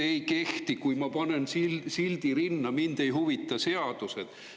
Need ei kehti, kui ma panen rinda sildi "Mind ei huvita seadused".